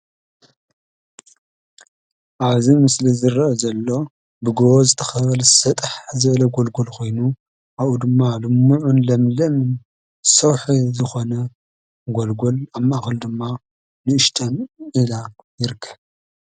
ኣብዚ ምስሊ ዝርአ ዘሎ ብጎቦ ዝተኸበበ ሰጣሕ ዝበለ ጎልጎል ኮይኑ ኣብኡ ድማ ልሙዕን ለምለምን ሰውሒ ዝኾነ ጎልጎል ኣብ ማእኸሉ ድማ ንእሽተይ ወዳቕ ይርከብ።